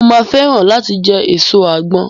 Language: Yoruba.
Mo máa fẹ́ràn láti jẹ èso àgbọn.